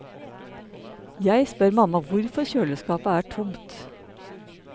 Jeg spør mamma hvorfor kjøleskapet er tomt.